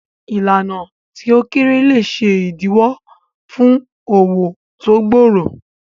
Ìlànà tí ó kéré lè ṣe ìdíwọ́ fún òwò tó gbòòrò.